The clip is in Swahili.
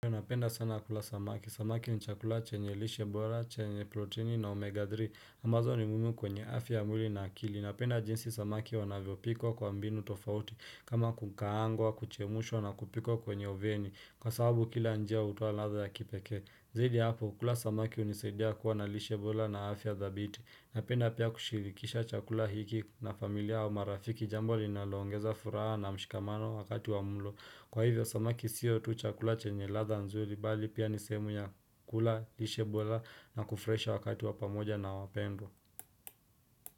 Napenda sana kula samaki, samaki ni chakula chenye lishe bora, chenye protini na omega 3 ambazo ni muhimu kwenye afya ya mwili na akili Napenda jinsi samaki wanavyo pikwa kwa mbinu tofauti kama kukaangwa, kuchemshwa na kupikwa kwenye oveni Kwa sababu kila njia hutoa ladha ya kipekee Zidi ya hapo, kula samaki hunisaidia kuwa na lishebora na afya thabiti Napenda pia kushirikisha chakula hiki na familia au marafiki Jambo linalo ongeza furaha na mshikamano wakati wa mlo Kwa hivyo samaki siyo tu chakula chenye ladha nzuri bali pia nisehemu ya kula, lishe bora na kufurahisha wakati wapamoja na wapendo.